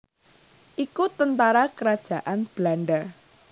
iku tentara kerajaan Belanda